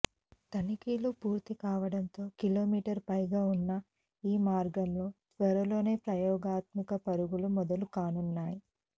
తనిఖీలు పూర్తికావడంతో కిలోమీటర్ పైగా ఉన్న ఈ మార్గంలో త్వరలోనే ప్రయోగాత్మక పరుగులు మొదలు కానున్నాయి